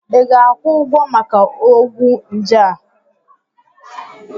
Ị ga-akwụ ụgwọ maka ọgwụ njé a?